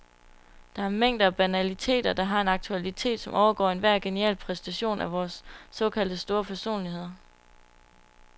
Der er mængder af banaliteter, der har en aktualitet, som overgår enhver genial præstation af vore såkaldte store personligheder.